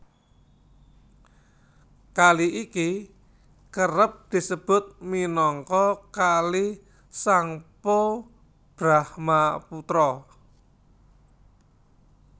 Kali iki kerep disebut minangka Kali Tsangpo Brahmaputra